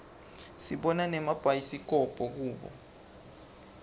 sibona nemabhayisikobho kubo